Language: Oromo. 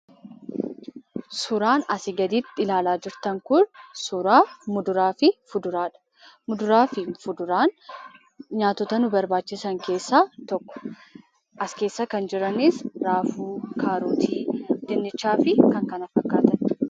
Suuraan asi gaditti ilaalaa jirtan kun suuraa muduraa fi fuduraadha. Muduraa fi fuduraan nyaatoota nu barbaachisan keessa tokkodha. As keessa kan jiranis raafuu, kaarootii, dunnichaa fi kan kana fakkaataniidha.